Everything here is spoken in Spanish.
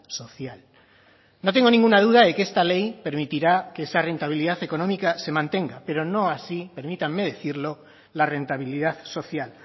social no tengo ninguna duda de que esta ley permitirá que esa rentabilidad económica se mantenga pero no así permítanme decirlo la rentabilidad social